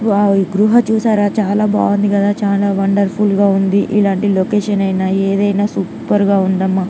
wow ఈ గృహా చూశారా చాలా బాగుంది కదా చాలా వండర్ఫుల్ గా ఉంది ఇలాటి లొకేషన్ ఇన్యా ఏది ఇన్యా ఏది ఐన సూపర్ గా ఉంది--